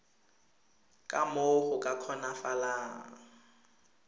ka moo go ka kgonagalang